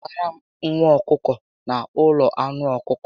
Nwụtara m nwa ọkụkọ na ụlọ anụ ọkụkọ